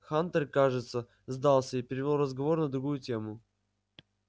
хантер кажется сдался и перевёл разговор на другую тему